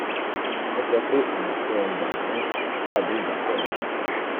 o sọ pé ọ̀nà tó o gbà ń rìn dàbí ìgbà tó o ń ṣakọ rìn